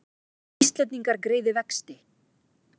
Íslendingar greiði vexti